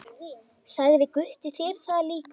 Sagði Gutti þér það líka?